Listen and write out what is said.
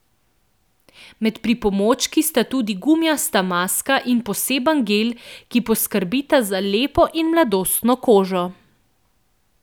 Med pripomočki sta tudi gumijasta maska in poseben gel, ki poskrbita za lepo in mladostno kožo.